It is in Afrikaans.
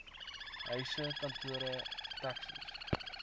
huise kantore taxis